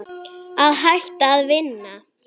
Að hætta að vinna?